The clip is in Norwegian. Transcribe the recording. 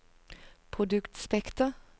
produktspekter